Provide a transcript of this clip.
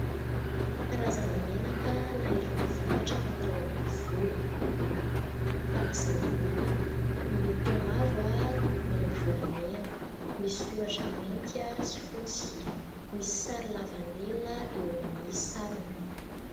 Karazana menaka na irony vokatra fatao amin'ny volo, na fanasana loha. Miloko mavo manopy volamena, misy soratra mainty sy fotsy. Misy sary lavanila eo amin'ny sarony.